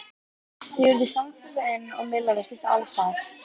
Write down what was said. Þau urðu samferða inn og Milla virtist alsæl.